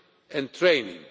education and training.